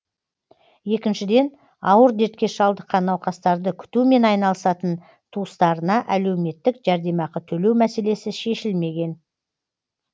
екіншіден ауыр дертке шалдыққан науқастарды күтумен айналысатын туыстарына әлеуметтік жәрдемақы төлеу мәселесі шешілмеген